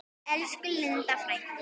Elsku Linda frænka.